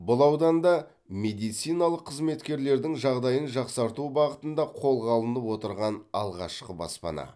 бұл ауданда медициналық қызметкерлердің жағдайын жақсарту бағытында қолға алынып отырған алғашқы баспана